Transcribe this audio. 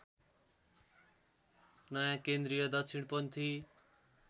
नयाँ केन्द्रीय दक्षिणपन्थी